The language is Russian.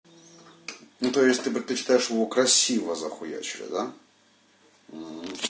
но то есть ты предпочитаешь его красиво захуячили да